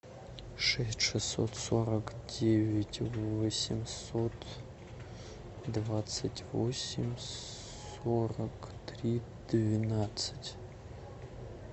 шесть шестьсот сорок девять восемьсот двадцать восемь сорок три двенадцать